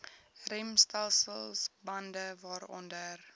remstelsel bande waaronder